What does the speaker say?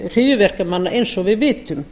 hryðjuverkamanna eins og við vitum